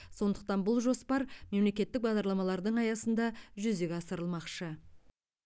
сондықтан бұл жоспар мемлекеттік бағдарламалардың аясында жүзеге асырылмақшы